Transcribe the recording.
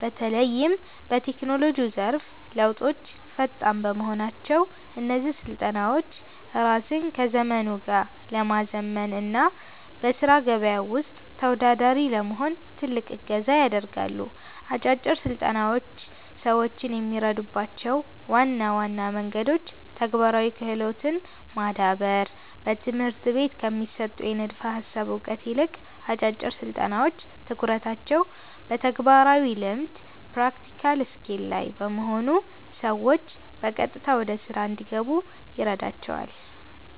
በተለይም በቴክኖሎጂው ዘርፍ ለውጦች ፈጣን በመሆናቸው፣ እነዚህ ስልጠናዎች ራስን ከዘመኑ ጋር ለማዘመን እና በሥራ ገበያው ውስጥ ተወዳዳሪ ለመሆን ትልቅ እገዛ ያደርጋሉ። አጫጭር ስልጠናዎች ሰዎችን የሚረዱባቸው ዋና ዋና መንገዶች ተግባራዊ ክህሎትን ማዳበር፦ በትምህርት ቤቶች ከሚሰጠው የንድፈ ሃሳብ እውቀት ይልቅ፣ አጫጭር ስልጠናዎች ትኩረታቸው በተግባራዊ ልምድ (Practical Skill) ላይ በመሆኑ ሰዎች በቀጥታ ወደ ሥራ እንዲገቡ ይረዳቸዋል።